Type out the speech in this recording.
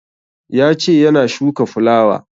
Ya ce yana shuka fulawa